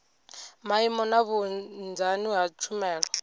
maimo na vhunzani ha tshumelo